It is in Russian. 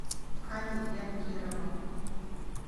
али янгирова